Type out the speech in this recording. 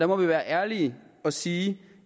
må være ærlige og sige